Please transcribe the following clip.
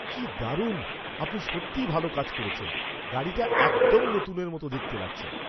কি দারুণ! আপনি সত্যিই ভালো কাজ করেছেন। গাড়িটা একদম নতুনের মতো দেখতে লাগছে!